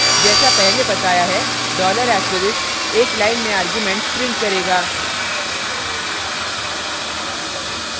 जैसा पहले बताया है $* एक line में arguments print करेगा